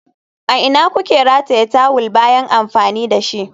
A ina kuke rataye tawul bayan amfani da shi?